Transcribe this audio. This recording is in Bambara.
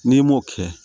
N'i m'o kɛ